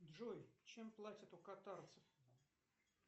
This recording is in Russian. джой чем платят у катарцев